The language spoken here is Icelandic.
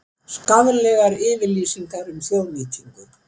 Skaðlegar yfirlýsingar um þjóðnýtingu